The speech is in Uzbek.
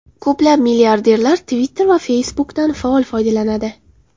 Ko‘plab milliarderlar Twitter va Facebook’dan faol foydalanadi.